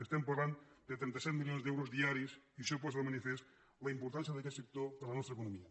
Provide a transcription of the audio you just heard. estem parlant de trenta set milions d’euros diaris i això posa de manifest la importància d’aquest sector per a la nos·tra economia